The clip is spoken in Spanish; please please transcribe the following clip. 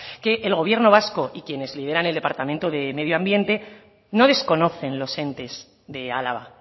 que el gobierno vasco y quienes lideran el departamento de medio ambiente no desconocen los entes de álava